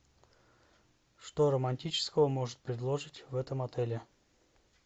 что романтического может предложить в этом отеле